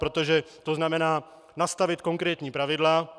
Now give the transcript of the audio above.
Protože to znamená nastavit konkrétní pravidla.